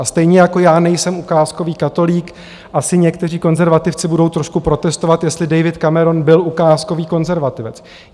A stejně jako já nejsem ukázkový katolík, asi někteří konzervativci budou trošku protestovat, jestli David Cameron byl ukázkový konzervativec.